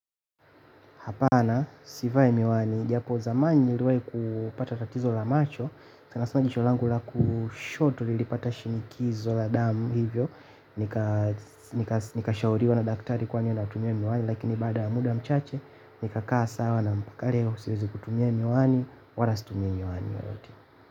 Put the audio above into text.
Hapana, sivai miwani, japo zamani niliwahi kupata tatizo la macho, sana sana jicho langu la kushoto lilipata shinikizo la damu, hivyo nikashauriwa na daktari kwanya na tumye miwani, lakini bada muda mchache, nikakaa sawa na mpukari ya usirizi kutumye miwani, walastumye miwani.